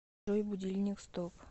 джой будильник стоп